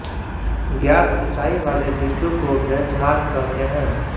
ज्ञात ऊचाई वाले बिन्दु को बेंचमार्क कहते हैं